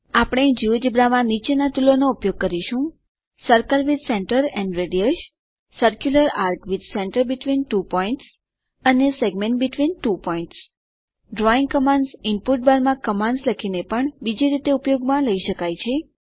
આપણે જિયોજેબ્રા માં નીચેના ટુલોનો ઉપયોગ કરીશું circle with centre and radius circular arc with centre between two points અને segment between two points drawing commands input બારમાં કમાન્ડસ લખીને પણ બીજી રીતે ઉપયોગ લઈ શકાય છે